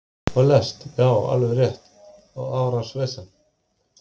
Já, alveg rétt og árans vesen